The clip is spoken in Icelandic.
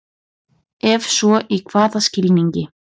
Ef svo í hvaða skilningi?